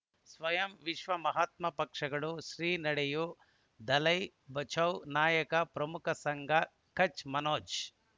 ಸ್ವಯಂ ವಿಶ್ವ ಮಹಾತ್ಮ ಪಕ್ಷಗಳು ಶ್ರೀ ನಡೆಯೂ ದಲೈ ಬಚೌ ನಾಯಕ ಪ್ರಮುಖ ಸಂಘ ಕಚ್ ಮನೋಜ್